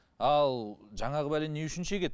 ал жаңағы бәлені не үшін шегеді